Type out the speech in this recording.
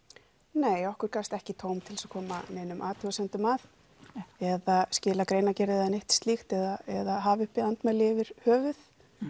nei okkur gafst ekki tóm til að koma neinum athugasemdum að eða skila greinargerð eða neitt slíkt eða hafa uppi andmæli yfir höfuð